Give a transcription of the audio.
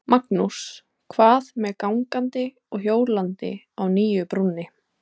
Magnús: Hvað með gangandi og hjólandi á nýju brúnni?